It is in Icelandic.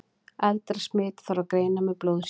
eldra smit þarf að greina með blóðsýni